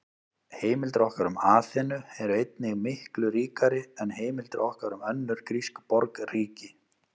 Heimildir okkar um Aþenu eru einnig miklu ríkari en heimildir okkar um önnur grísk borgríki.